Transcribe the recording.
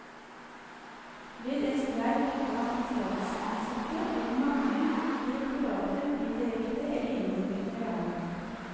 Ved en streik blant de statsansatte vil mange direktorater bli direkte eller indirekte rammet.